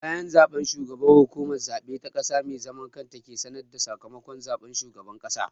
Bayan zaɓe, shugaban Hukumar Zaɓe ta ƙasa mai zaman kanta ke sanar da sakamakon zaɓen shugaban ƙasa.